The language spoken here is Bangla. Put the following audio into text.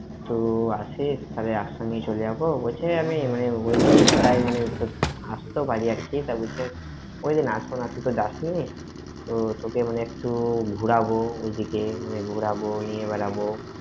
তো আসিস, তাহলে একসঙ্গেই চলে যাব, বলছে আমি মানে, ওই দিনই আস্তেও পারি আরকি, ওই দিন আসব না, তাইতো যাসনি, তো তোকে মানে একটু ঘুরাব, ওই দিকে মানে ঘোরাবো, নিয়ে বেরবো।